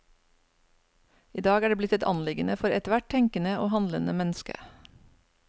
I dag er det blitt et anliggende for ethvert tenkende og handlende menneske.